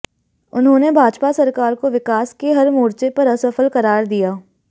उन्होंने भाजपा सरकार को विकास के हर मोर्चे पर असफल करार दिया